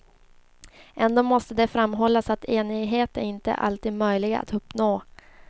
Ändå måste det framhållas att enighet inte alltid är möjlig att uppnå.